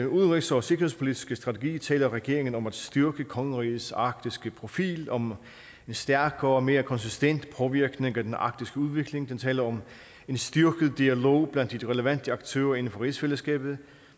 udenrigs og sikkerhedspolitiske strategi taler regeringen om at styrke kongerigets arktiske profil om en stærkere og mere konsistent påvirkning af den arktiske udvikling den taler om en styrket dialog blandt de relevante aktører inden for rigsfællesskabet